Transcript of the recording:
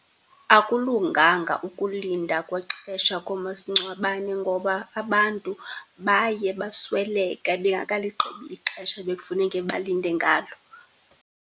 Akulunganga ukulinda kwexesha koomasingcwabane ngoba abantu baye basweleka bengakaligqibi ixesha bekufuneka balinde ngalo.